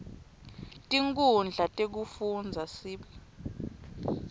tinkhundla tekufundza sib